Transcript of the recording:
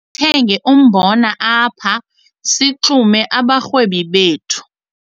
Masithenge umbona apha sixume abarhwebi bethu.